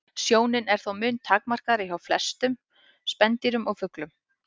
Sjónin er þó mun takmarkaðri en hjá flestum spendýrum og fuglum.